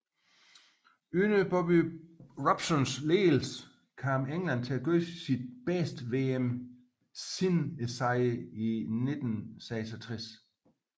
Under Bobby Robsons ledelse kom England til at gøre sit bedste VM siden sejren i 1966